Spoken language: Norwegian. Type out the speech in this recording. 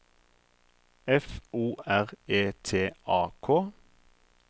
F O R E T A K